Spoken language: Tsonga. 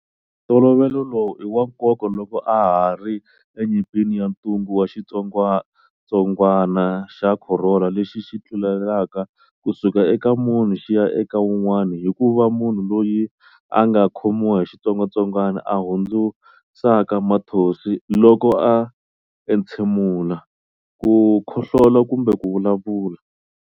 Ntolovelo lowu i wa nkoka loko a ha ri enyimpini ya ntungu wa xitsongwantsongwana xa Khorona lexi xi tlulelaka ku suka eka munhu xi ya eka un'wana hi ku va munhu loyi a nga khomiwa hi xitsongwatsongwani a hundzusaka mathonsi loko a entshemula, ku khohlola kumbe ku vulavula.